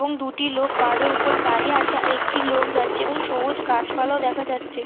এবং দুটি লোক পাহাড় উপর দাঁড়িয়ে আছে আর একটি লোক যাচ্ছে এবং সবুজ গাছপালা দেখা যাচ্ছে ।